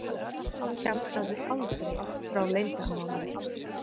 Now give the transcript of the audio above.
Kjaftaðu aldrei frá leyndarmálum!